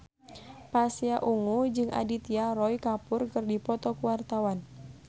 Pasha Ungu jeung Aditya Roy Kapoor keur dipoto ku wartawan